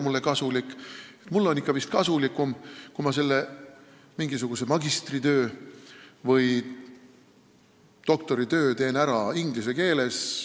Mulle on vist ikka kasulikum, kui ma teen magistritöö või doktoritöö inglise keeles.